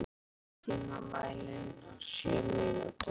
Björgey, stilltu tímamælinn á sjö mínútur.